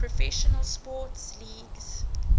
professional sports leagues